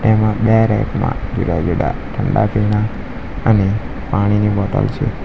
એમાં બે રેક માં જુદા-જુદા ઠંડા પીણા અને પાણીની બોટલ છે.